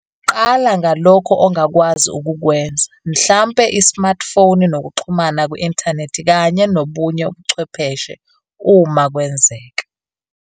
Qala ngalokho ongakwazi ukukwenza, mhlampe i-smartphone nokuxhuma ku-inthanethi kanye nobunye ubuchwepheshe uma kwenzeka.